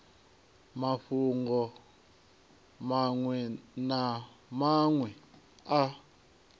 mafhungo maṅwe na maṅwe a